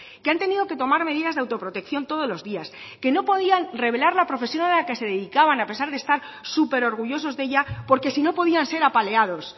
que han tenido que tomar medidas de autoprotección todos los días que no podían revelar la profesión a la que se dedicaban a pesar de estar súper orgullosos de ella porque si no podían ser apaleados